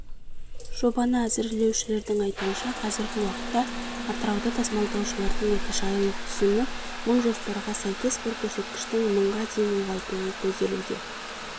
жобаны әзірлеушілердің айтуынша қазіргі уақытта атырауда тасымалдаушылардан орташа айлық түсім мың жоспарға сәйкес бұл көрсеткішті мыңға дейін ұлғайту көзделуде